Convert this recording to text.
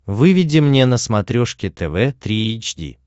выведи мне на смотрешке тв три эйч ди